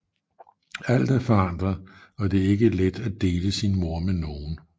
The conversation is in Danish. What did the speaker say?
Alt er forandret og det er ikke let at dele sin mor med nogen